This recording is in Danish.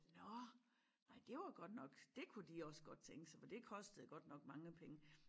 Nå nej det var godt nok dét kunne de også godt tænke sig for det kostede godt nok mange penge